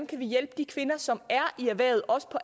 kan hjælpe de kvinder som er i erhvervet også på